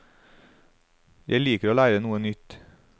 Jeg liker å lære noe nytt.